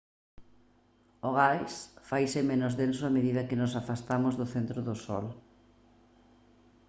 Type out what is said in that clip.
o gas faise menos denso a medida que nos afastamos do centro do sol